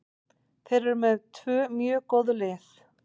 Þeir eru með tvö mjög góð lið.